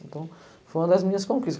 Então, foi uma das minhas conquistas.